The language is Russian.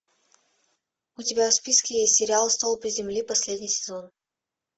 у тебя в списке есть сериал столпы земли последний сезон